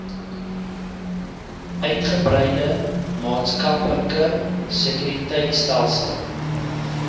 uitgebreide maatskaplike sekuriteitstelsel